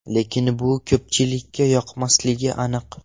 Lekin bu ko‘pchilikka yoqmasligi aniq.